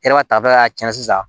E yɛrɛ ka tafɛla y'a cɛn sisan